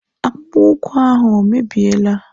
Akpụkpọ ụkwụ ahụ o mebiela?